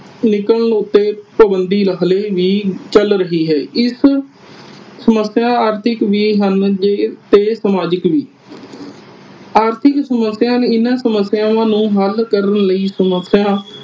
ਨਿਕਲਣ ਉਤੇ ਪਾਬੰਦੀ ਹਾਲੇ ਵੀ ਚਲ ਰਹੀ ਹੈ। ਇਸ ਸਮੱਸਿਆ ਆਰਥਿਕ ਵੀ ਹਨ ਜੇ ਤੇ ਸਮਾਜਿਕ ਵੀ। ਆਰਥਿਕ ਸਮੱਸਿਆ ਇਨ੍ਹਾਂ ਸਮੱਸਿਆ ਨੂੰ ਹਲ ਕਰਨ ਲਈ ਸਮੱਸਿਆ